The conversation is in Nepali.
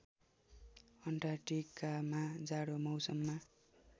अन्टार्क्टिकामा जाडो मौसममा